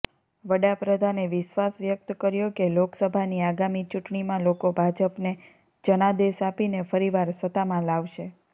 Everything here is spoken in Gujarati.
વડાપ્રધાને વિશ્વાસ વ્યક્ત કર્યો કે લોકસભાની આગામી ચૂંટણીમાં લોકો ભાજપને જનાદેશ આપીને ફરીવાર સત્તામાં લાવશે